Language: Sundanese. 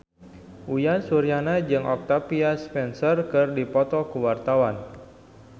Uyan Suryana jeung Octavia Spencer keur dipoto ku wartawan